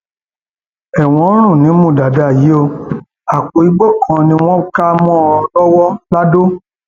ẹwọn ń rùn nímú dàdà yìí o àpò igbó kan ni wọn kà mọ ọn lọwọ ladọ